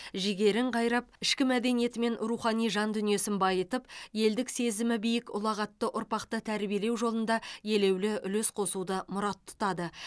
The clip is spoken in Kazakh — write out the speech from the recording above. жігерін қайрап ішкі мәдениеті мен рухани жан дүниесін байытып елдік сезімі биік ұлағатты ұрпақты тәрбиелеу жолында елеулі үлес қосуды мұрат тұтады